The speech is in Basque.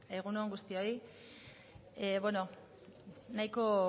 egun on guztioi nahiko